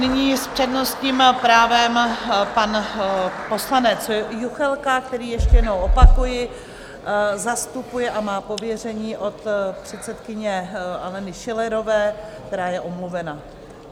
Nyní s přednostním právem pan poslanec Juchelka, který, ještě jednou opakuji, zastupuje a má pověření od předsedkyně Aleny Schillerové, která je omluvena.